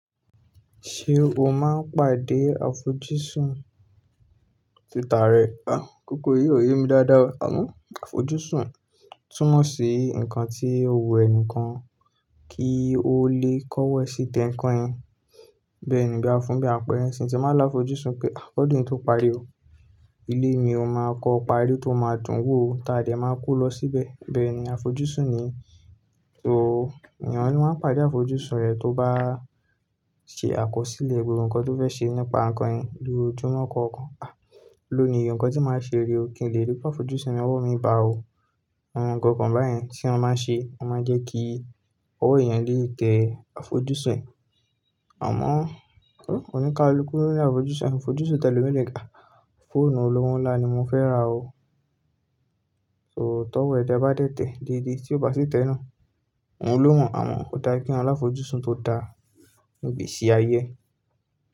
Ṣé o máa ń pàdé àfojúsùn? Tàá rẹ, àń, koko yìí ò yé mi dáadáa. Àmọ́ àfojúsùn túnmọ̀ sí nǹkan tí o wù ẹnìkan kí ó le kọ̀wọ ẹ ṣí tẹ̀ n nkan yẹn. Bẹ́ẹ̀ ni bí a fún bí a apẹrẹ n sín ti n báa lá àfojúsùn pé à kọ́dùn yi tó parí o, ilé mi o máa kọ́ parí tó máa dùn wò o, tàa dẹ máa kó lọ síbẹ̀. Bẹ́ẹ̀ ni àfojúsùn ni. So èèyàn ló máa ń pàdé àfojúsùn rẹ̀ tó bá ṣe àkọsílẹ̀ gbogbo nǹkan tó fẹ́ ṣe nípa nǹkan yẹn lójú mọ́ kàn kàn. Àń, lónìí nǹkan tí màá ṣe re o kí n lè rí pé àfojúsùn mi ọwọ̀ mí bá o. Àwọn nǹkan kan báyẹn tí a máa ń ṣe, a máa jẹ́ kí ọwọ́ èèyàn lè tẹ àfojúsùn ẹ̀. Àmọ́, o ní ká lu kú lo ni àfojúsùn, àfojúsùn tẹ lómi lèé ah, fóònù olówo ńlá ni mo fẹ́ rà o. So tọ́wọ́ ẹ dẹ bá dẹ́tẹ́ dédé tí o bá sì tẹ náà, òun ló mọ̀. Àmọ́ ò da kí èèyàn l'àfojúsùn tó da ni igbèsì ayé ẹ.